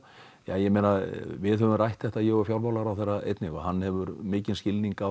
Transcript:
ég meina við höfum rætt þetta ég og fjármálaráðherra einnig og hann hefur mikinn skilning á